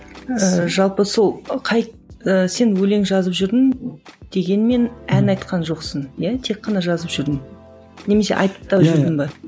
ыыы жалпы сол қай ыыы сен өлең жазып жүрдің дегенмен ән айтқан жоқсың иә тек қана жазып жүрдің немесе айтып та жүрдің бе